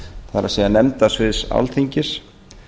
það er nefndasviðs alþingis